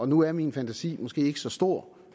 nu er min fantasi måske ikke så stor